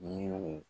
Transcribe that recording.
Yiriw